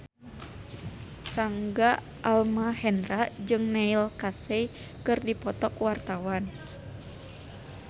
Rangga Almahendra jeung Neil Casey keur dipoto ku wartawan